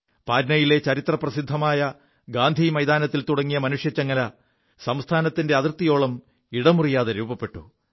പാറ്റ്നയിലെ ചരിത്രപ്രസിദ്ധമായ ഗാന്ധി മൈതാനത്തിൽ തുടങ്ങിയ മനുഷ്യച്ചങ്ങല സംസ്ഥാനത്തിന്റെ അതിർത്തിയോളം ഇടമുറിയാതെ രൂപപ്പെു